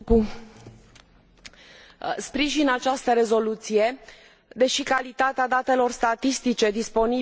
Sprijin această rezoluție, deși calitatea datelor statistice disponibile trebuie îmbunătățită.